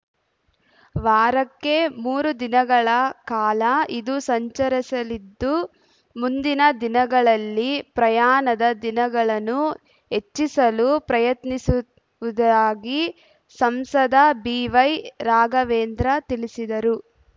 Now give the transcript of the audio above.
ವಾರಕ್ಕೆ ಮೂರು ದಿನಗಳ ಕಾಲ ಇದು ಸಂಚರಿಸಲಿದ್ದು ಮುಂದಿನ ದಿನಗಳಲ್ಲಿ ಪ್ರಯಾಣದ ದಿನಗಳನ್ನು ಹೆಚ್ಚಿಸಲು ಪ್ರಯತ್ನಿಸುವುದಾಗಿ ಸಂಸದ ಬಿ ವೈ ರಾಘವೇಂದ್ರ ತಿಳಿಸಿದರು